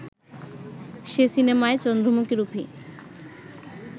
সে সিনেমায় চন্দ্রমুখীরূপী